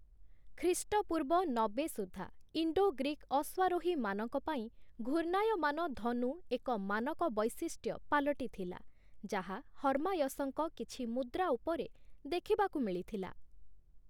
ଖ୍ରୀଷ୍ଟପୂର୍ବ ନବେ ସୁଦ୍ଧା ଇଣ୍ଡୋ-ଗ୍ରୀକ୍ ଅଶ୍ୱାରୋହୀମାନଙ୍କ ପାଇଁ ଘୂର୍ଣ୍ଣାୟମାନ ଧନୁ ଏକ ମାନକ ବୈଶିଷ୍ଟ୍ୟ ପାଲଟିଥିଲା, ଯାହା ହର୍ମାୟସଙ୍କ କିଛି ମୁଦ୍ରା ଉପରେ ଦେଖିବାକୁ ମିଳିଥିଲା ।